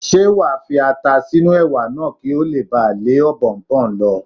Ṣé wà á fi ata sínú Ẹ̀wà náà kí ó le ba lé Ọ̀bọ̀ọ̀nbọọ̀n lọ?